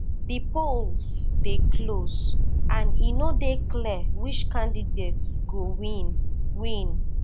di polls dey close and e no dey clear which candidate go win win